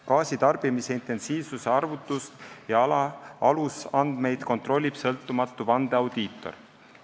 Gaasitarbimise intensiivsuse arvutust ja alusandmeid kontrollib sõltumatu vandeaudiitor.